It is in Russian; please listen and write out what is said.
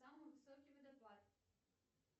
самый высокий водопад